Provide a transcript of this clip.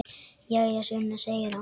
Jæja, Sunna, segir hann.